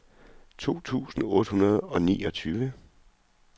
tolv tusind otte hundrede og niogtyve